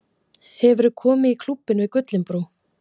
Hefurðu komið í Klúbbinn við Gullinbrú?